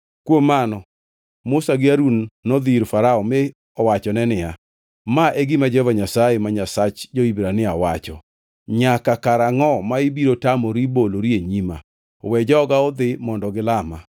Kuom mano Musa gi Harun nodhi ir Farao mi owachone niya, “Ma e gima Jehova Nyasaye, ma Nyasach jo-Hibrania wacho: ‘Nyaka karangʼo ma ibiro tamori bolori e nyima? We joga odhi mondo gilama.